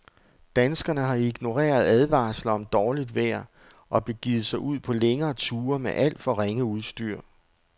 Danskerne har ignoreret advarsler om dårligt vejr og begivet sig ud på længere ture med alt for ringe udstyr.